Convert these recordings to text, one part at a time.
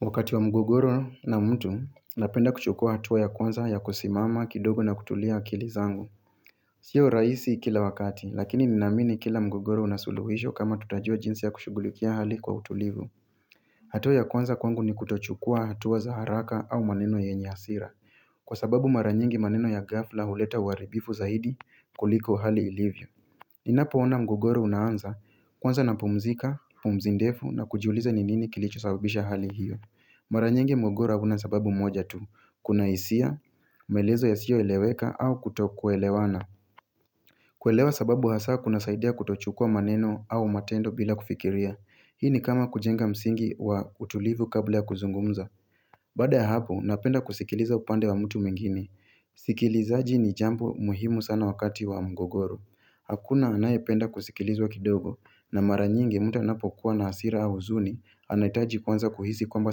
Wakati wa mgogoro na mtu napenda kuchukua hatua ya kwanza ya kusimama kidogo na kutulia akili zangu Sio raisi kila wakati lakini ninaamini kila mgogoro una suluhisho kama tutajua jinsi ya kushughulikia hali kwa utulivu hatua ya kwanza kwangu ni kutochukua hatua za haraka au maneno yenye asira Kwa sababu mara nyingi maneno ya ghafla huleta uaribifu zaidi kuliko hali ilivyo Ninapoona mgogoro unaanza kwanza napumzika, pumzi ndefu na kujiuliza ni nini kilicho sababisha hali hiyo Mara nyingi mwogora una sababu moja tu, kuna isia, maelezo yasiyoeleweka au kutokuelewana kuelewa sababu hasa kunasaidia kutochukua maneno au matendo bila kufikiria Hii ni kama kujenga msingi wa utulivu kabla ya kuzungumza Baada ya hapo, napenda kusikiliza upande wa mtu mwingine Sikilizaji ni jambo muhimu sana wakati wa mgogoro Hakuna anayependa kusikilizwa kidogo na mara nyingi mtu anapokuwa na hasira au uzuni Anaitaji kwanza kuhisi kwamba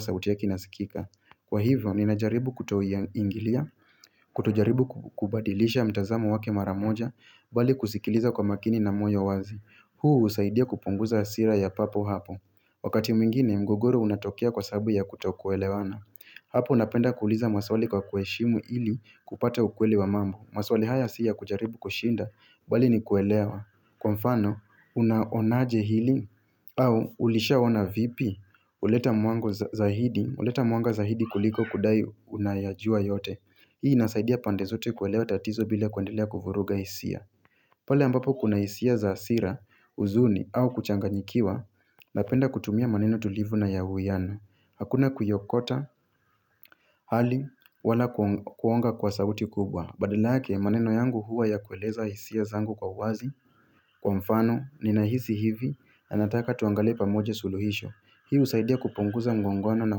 sauti ya inasikika Kwa hivyo, ninajaribu kutoingilia, kutojaribu kubadilisha mtazamo wake mara moja, bali kusikiliza kwa makini na moyo wazi. Huu usaidia kupunguza asira ya papo hapo. Wakati mwingine, mgogoro unatokea kwa sabu ya kutokuelewana. Hapo unapenda kuuliza maswali kwa kueshimu ili kupata ukweli wa mambo. Maswali haya si ya kujaribu kushinda, bali ni kuelewa. Kwa mfano, unaonaje hili au ulishaona vipi uleta mwanga zaidi kuliko kudai unayajua yote Hii nasaidia pande zote kuelewa tatizo bila kuendelea kufuruga isia pale ambapo kuna isia za asira, uzuni au kuchanganyikiwa Napenda kutumia maneno tulivu na ya uwiyano Hakuna kuiokota hali wala kuonga kwa sauti kubwa Badalake maneno yangu huwa ya kueleza isia zangu kwa uwazi Kwa mfano, ninahisi hivi, anataka tuangalie pamoja suluhisho Hii usaidia kupunguza mgongwano na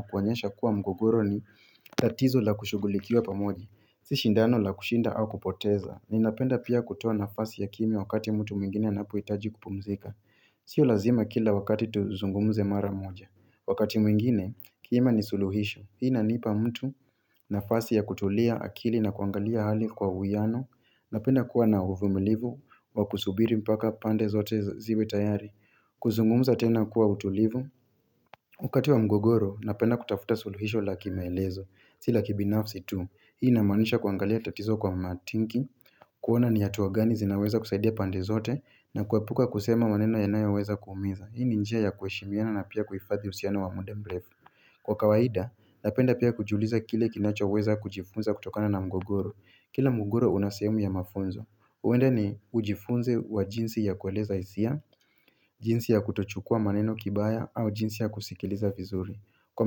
kuonyesha kuwa mgogoro ni tatizo la kushugulikiwa pamoja Si shindano la kushinda au kupoteza Ninapenda pia kutoa nafasi ya kimya wakati mtu mwingine na poitaji kupumzika Sio lazima kila wakati tuzungumze mara moja Wakati mwingine, kima ni suluhisho Hii inanipa mtu nafasi ya kutulia akili na kuangalia hali kwa uwiano Napenda kuwa na uvumilivu, wa kusubiri mpaka pande zote ziwe tayari kuzungumza tena kuwa utulivu wakati wa mgogoro, napenda kutafuta suluhisho la kimaelezo Si la kibinafsi tu, hii inamaanisha kuangalia tatizo kwa matinki kuona ni ya atua gani zinaweza kusaidia pande zote na kuapuka kusema maneno yanayoweza kuumiza Hii ni njia ya kueshimiana na pia kuhifathi usiano wa muda mrefu Kwa kawaida, napenda pia kujiuliza kile kinachoweza kujifunza kutokana na mgogoro Kila mgogoro una sehemu ya mafunzo. Uwende ni ujifunze wa jinsi ya kueleza isia, jinsi ya kutochukua maneno kibaya, au jinsi ya kusikiliza vizuri. Kwa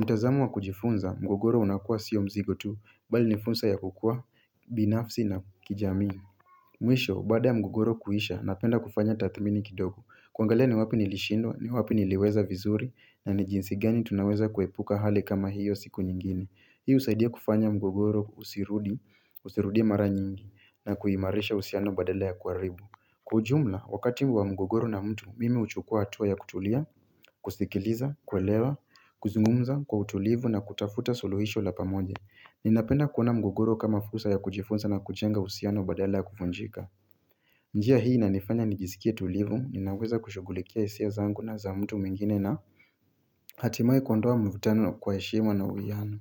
mtazamo wa kujifunza, mgogoro unakua sio mzigo tu, bali ni funza ya kukua binafsi na kijamii. Mwisho, baada ya mgogoro kuisha, napenda kufanya tathmini kidogo. Kuangalia ni wapi nilishindwa, ni wapi niliweza vizuri, na ni jinsi gani tunaweza kuepuka hali kama hiyo siku nyingine. Hii usaidia kufanya mgogoro usirudie mara nyingi na kuimarisha usiano badala ya kuaribu Kujumla, wakati mbu wa mgogoro na mtu, mimi uchukua atua ya kutulia, kusikiliza, kwelewa, kuzungumza kwa utulivu na kutafuta suluhisho la pamoja Ninapenda kuona mgogoro kama fursa ya kujifunza na kujenga usiano badala ya kufunjika njia hii inanifanya nijiskie tulivu, ninaweza kushughulikia isia zangu na za mtu mwingine na Hatimae kuondoa mvutano kwa eshema na uwiano.